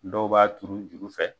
Dɔw b'a turu juru fɛ